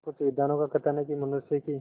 कुछ विद्वानों का कथन है कि मनुष्य की